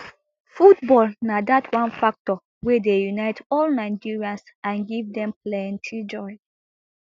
football na dat one factor wey dey unite all nigerians and give dem plenti joy